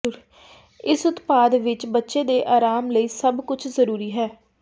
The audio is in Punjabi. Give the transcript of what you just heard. ਇਸ ਉਤਪਾਦ ਵਿਚ ਬੱਚੇ ਦੇ ਆਰਾਮ ਲਈ ਸਭ ਕੁਝ ਜ਼ਰੂਰੀ ਹੈ